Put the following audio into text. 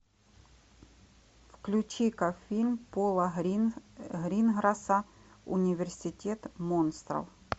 включи ка фильм пола гринграсса университет монстров